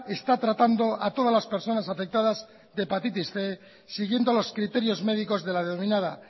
está tratando a todas las personas afectadas de hepatitis cien siguiendo los criterios médicos de la denominada